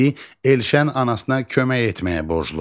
İki: Elşən anasına kömək etməyə borcludur.